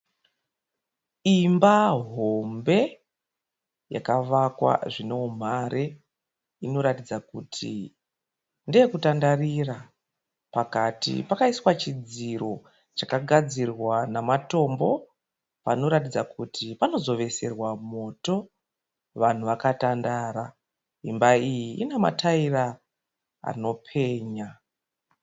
Imba hombe yakavakwa zvine umhare inoratidza kuti ndeye kutandarira. Pakati pakaiswa chidziro chakagadzirwa namatombo panoratidza kuti panozo veserwa moto vanhu vakatandara. Imba iyi ine mataira anopenya.